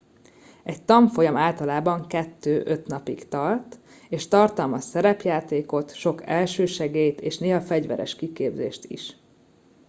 egy tanfolyam általában 2-5 napig tart és tartalmaz szerepjátékot sok elsősegélyt és néha fegyveres kiképzést is